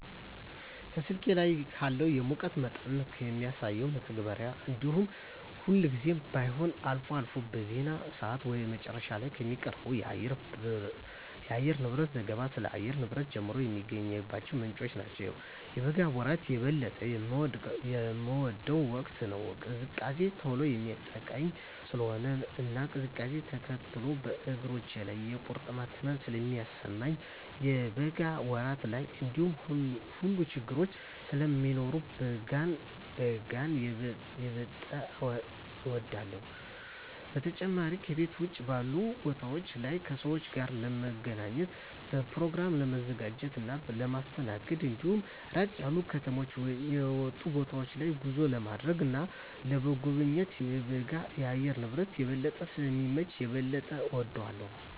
ከስልኬ ላይ ካለው የሙቀት መጠንን ከሚያሳሰው መተግበሪያ እንዲሁም ሁልጊዜም ባይሆን አልፎ አልፎ በዜና ሰአት ወደ መጨረሻ ላይ ከሚቀርበው የአየርንብረት ዘገባ ስለ አየር ንብረት ጀመረ የሚገኝባቸው ምንጮች ናቸው። የበጋ ወራት የበለጠ የምወደው ወቅት ነው። ቅዝቃዜ ቶሎ የሚያጠቃኝ ስለሆነ እና ቅዝቃዜውነ ተከትሎ በእግሮቼ ላይ የቁርጥማት ህመም ስለሚሰማኝ የበጋ ወራት ላይ እነዚህ ሁሉ ችግረኞች ስለማይኖሩ በጋን የበጠ እወዳለሁ። በተጨማሪም ከቤት ውጭ ባሉ ቦታወች ላይ ከሰወች ጋር ለመገናኘት፣ በኘሮግራሞችን ለማዘጋጀት እና ለማስተናገድ እንዲሁም ራቅ ያሉ ከከተማ የወጡ ቦታወች ላይ ጉዞ ለማድረግ እና ለመጎብኘት የበጋ የአየር ንብረት የበለጠ ስለሚመች የበለጠ እወደዋለሁ።